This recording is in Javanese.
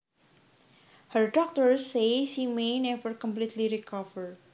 Her doctors say she may never completely recover